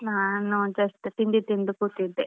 ನಾನು just ತಿಂಡಿ ತಿಂದು ಕೂತಿದ್ದೆ.